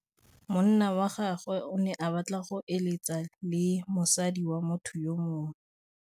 Monna wa gagwe o ne a batla go êlêtsa le mosadi wa motho yo mongwe.